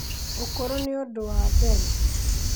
ũkũrũ nĩ ũndũ wa mbere